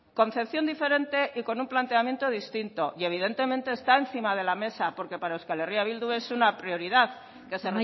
concepción diferente y con un planteamiento distinto y evidentemente está encima de la mesa porque para euskal herria bildu es una prioridad que se